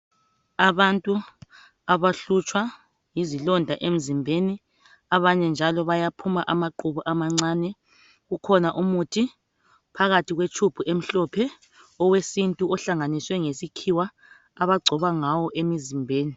abantu abahlutshwa yizilonda emzimbeni abanye njalo bayaphuma amaqhubu amancane kukhona umuthi phakathikwe tube emhlophe owesintu ohlanganiswe ngesikhiwa abagcoba ngawo emzimbeni